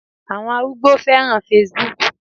Àwọn arúgbó féràn Facebook.